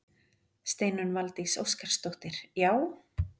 Steinunn Valdís Óskarsdóttir: Já?